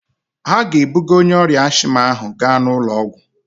Ha ga-ebuga onye ọrịa asthma ahụ gaa ụlọ ọgwụ